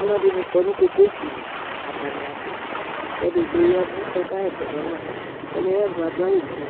alʊɛɗɩnɩ ƙɔnʊ ƙoƙosɩlɩ atanɩaɓʊ eɗɩgɓoƴɛʋʊ ƙɔƙahɛsɛ zɔnaƒa ɔlɩɛƴɛʋƴɛ ƙahɛsɛzɔnaƒa